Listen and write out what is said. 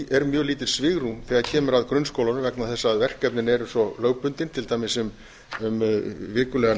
er mjög lítið svigrúm þegar kemur að grunnskólanum vegna þess að verkefnin eru svo lögbundin til dæmis um vikulegan